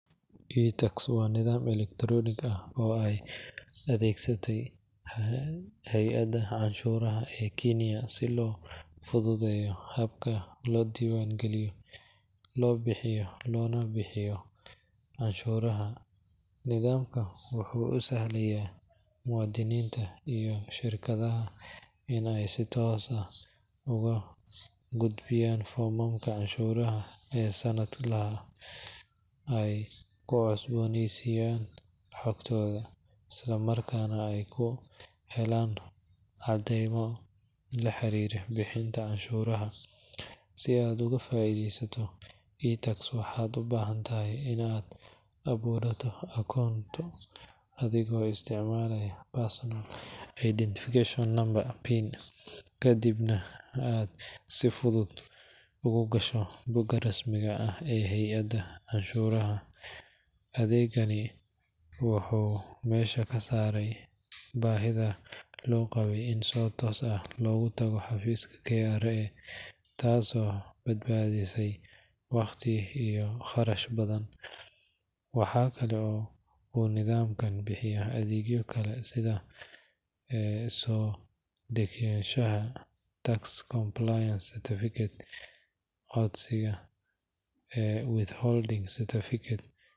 iTax waa nidaam elektaroonig ah oo ay adeegsatay hay’adda canshuuraha ee Kiiniya si loo fududeeyo habka loo diiwaangeliyo, loo buuxiyo loona bixiyo canshuuraha. Nidaamkan wuxuu u sahlayaa muwaadiniinta iyo shirkadaha in ay si toos ah uga gudbiyaan foomamka canshuuraha ee sanadlaha ah, ay ku cusboonaysiiyaan xogtooda, islamarkaana ay ku helaan caddaymo la xiriira bixinta canshuuraha. Si aad uga faa’iidaysato iTax, waxaad u baahan tahay in aad abuurato koonto adigoo isticmaalaya Personal Identification Number (PIN), kadibna aad si fudud ugu gasho bogga rasmiga ah ee hay’adda canshuuraha. Adeegan wuxuu meesha ka saaray baahidii loo qabay in si toos ah loogu tago xafiisyada KRA, taasoo badbaadisay waqti iyo kharash badan. Waxa kale oo uu nidaamkani bixiyaa adeegyo kale sida soo degsashada tax compliance certificate, codsiga withholding certificates.